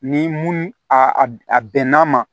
Ni mun a bɛnna ma